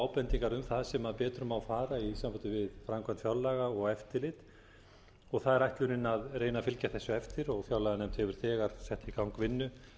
ábendingar um það sem betur má fara í sambandi við framkvæmd fjárlaga og eftirlit og það er ætlunin að reyna að fylgja þessu eftir og fjárlaganefnd hefur þegar sett í gang vinnu